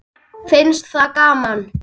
Finnst það gaman.